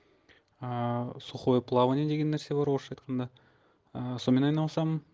ыыы сухое плавание деген нәрсе бар орысша айтқанда ыыы солмен айналысамын